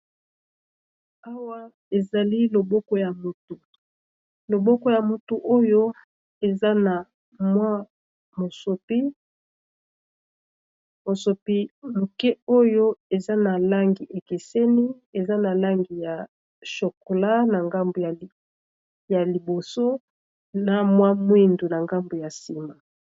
Awa ezali loboko ya mutu, loboko ya mutu oyo eza na mosopi moke oyo eza na langi ekeseni, eza na langi ya chokola, na ngambu ya liboso, na mua mwindu na gambu ya nsima.